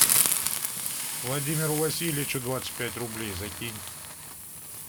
владимиру васильевичу двадцать пять рублей закинь